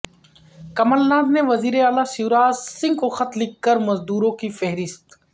کمل ناتھ نے وزیر اعلی شیوراج سنگھ کو خط لکھ کر مزدوروں کی فہرست